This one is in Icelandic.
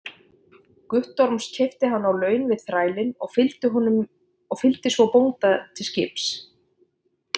Guttorms, keypti hann á laun við þrælinn og fylgdi svo bónda til skips.